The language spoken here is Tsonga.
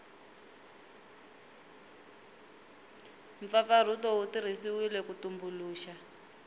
mpfapfarhuto wu tirhisiwile ku tumbuluxa